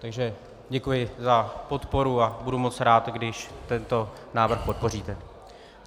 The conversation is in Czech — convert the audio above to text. Takže děkuji za podporu a budu moc rád, když tento návrh podpoříte.